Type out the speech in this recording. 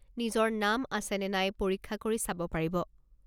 নিজৰ নাম আছে নে নাই পৰীক্ষা কৰি চাব পাৰিব।